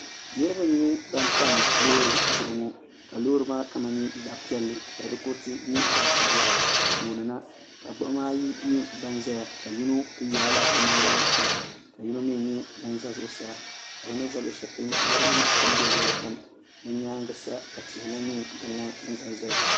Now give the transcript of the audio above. niriba nyɛ ban tam loori zuɣu ŋɔ ka loori maa kama nyɛ zaɣ' piɛlli ka di kuriti nyɛ zaɣ' sabila tooni na ka gbuɣima ayi ban zaya ka yino kuli yaai la o nangbuni pam yino mi nyɛ ŋun za zuɣusaa ka bɛ ni za luɣ'shɛli polo maa mɔri nyɛ din be luɣili kam bɛ nyaaga sa ka tihi lahi nyɛ din ʒe ʒeya.